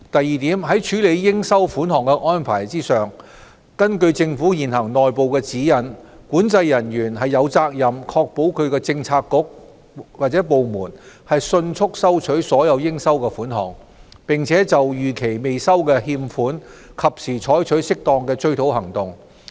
二在處理應收款項的安排上，根據政府現行內部指引，管制人員有責任確保其政策局/部門迅速收取所有應收款項，並就逾期未收的欠款及時採取適當的追討行動。